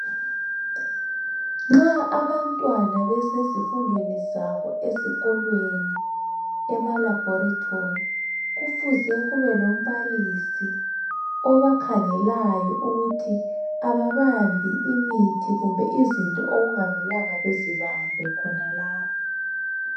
Nxa abantwana besezifundweni zabo ezikolweni emalaboratory kufuze kube lombalisi obakhangelayo ukuthi ababambi imithi kumbe izinto okungamelanga bezibambe khonalapho.